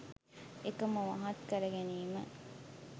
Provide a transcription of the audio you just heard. ඒක මුවහත් කර ගැනීම.